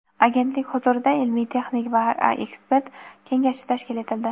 Agentlik huzurida Ilmiy texnik va ekspert kengashi tashkil etildi.